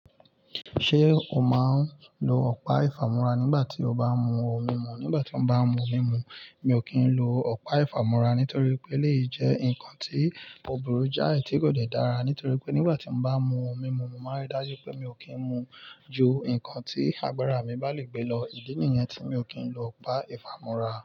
Ṣé o máa ń lo ọ̀pá ìfàmúra nígbà tí o bá ń mu ohun mímu? Nígbà tí mo bá ń mu ohun mímu, mi ò kì í lo ọ̀pá ìfàmúra nítorí pé elèyii jẹ́ nǹkan tí òbùrú jáì tí kò de dára. Nítorí pé nígbà tí mo bá mu ohun mímu, mo máa rí dájú pé mi ò kí ń mu ju nǹkan tí agbára mi bá lè gbé lọ. Ìdí nìyẹn tí mi ò kì ń lo ọ̀pá ìfàmúra.